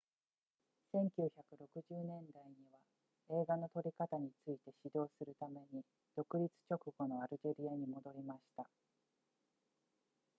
1960年代には映画の撮り方について指導するために独立直後のアルジェリアに戻りました